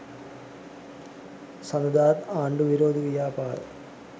සඳුදාත් ආණ්ඩු විරෝධී ව්‍යාපාර